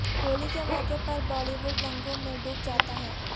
ہولی کے موقعے پر بالی وڈ رنگوں میں ڈوب جاتا ہے